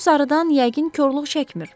Pul sarıdan yəqin korluq çəkmir.